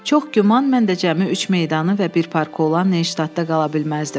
Çox güman, mən də cəmi üç meydanı və bir parkı olan Neştadda qala bilməzdim.